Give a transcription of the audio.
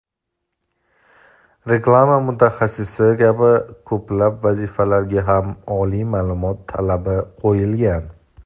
reklama mutaxassisi kabi ko‘plab vazifalarga ham oliy ma’lumot talabi qo‘yilgan.